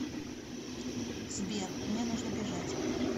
сбер мне нужно бежать